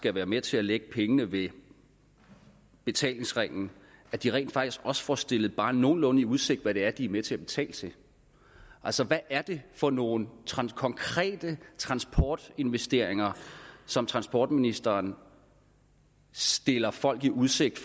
være med til at lægge pengene ved betalingsringen at de rent faktisk også får stillet bare nogenlunde i udsigt hvad det er de er med til at betale til altså hvad er det for nogle konkrete transportinvesteringer som transportministeren stiller folk i udsigt